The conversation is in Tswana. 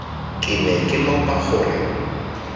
ke ne ke lopa gore